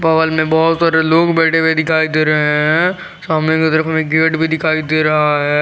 में बहुत सारे लोग बैठे हुए दिखाई दे रहे है सामने की तरफ हमें एक गेट भी दिखाई दे रहा है।